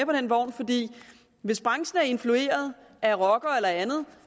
den vogn for hvis branchen er influeret af rockere eller andet